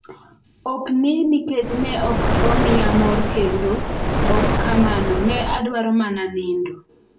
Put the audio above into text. Ok ni nikech ne ok omiya mor kendo, ok kamano, ne adwaro mana nindo.